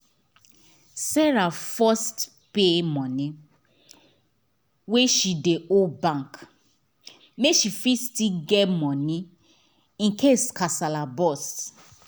sarah first pay money wey she dey owe bank make she fit still get money incase kasala burst